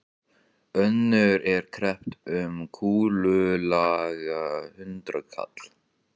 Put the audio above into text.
Önnur er kreppt um kúlulaga hundraðkall.